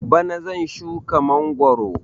Bana zan shuka mangwaro